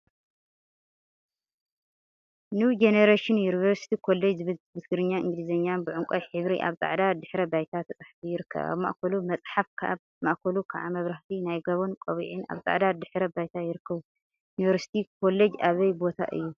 ኒው ጀኔሬሽን ዩኒቨርሲቲ ኮሌጅ ዝብል ብትግርኛን እንግሊዘኛን ብዕንቋይ ሕብሪ አብ ፃዕዳ ድሕረ ባይታ ተፃሒፉ ይርከብ፡፡ አብ ማእከሉ መፅሓፍ አብ ማእከሉ ከዓ መብራህቲን ናይ ጋቦን ቆቢዕን አብ ፃዕዳ ድሕረ ባይታ ይርከቡ፡፡ እዚ ዩኒቨርሲቲ ኮሌጅ አበይ ቦታ እዩ?